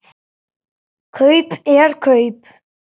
Kaup er kaup.